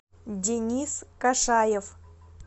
денис кашаев